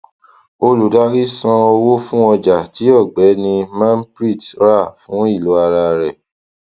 olùdarí san owó fún ọjà tí ògbéni manpreet rà fún ilò ara rẹ